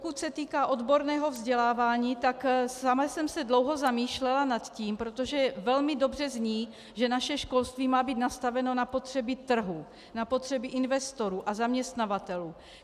Pokud se týká odborného vzdělávání, tak sama jsem se dlouho zamýšlela nad tím - protože velmi dobře zní, že naše školství má být nastaveno na potřeby trhu, na potřeby investorů a zaměstnavatelů.